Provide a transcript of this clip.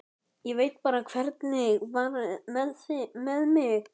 Ég veit bara hvernig var með mig.